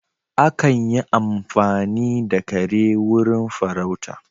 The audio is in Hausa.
Akan yi amfani da kare wurin farauta